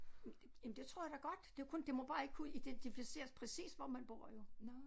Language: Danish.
Jamen det tror jeg da godt det er kun må bare ikke kunne identificeres præcis hvor man bor jo